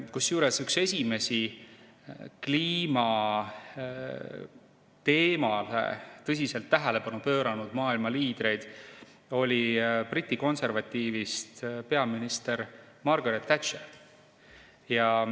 Kusjuures üks esimesi kliima teemale tõsiselt tähelepanu pööranud maailma liidreid oli Briti konservatiivist peaminister Margaret Thatcher.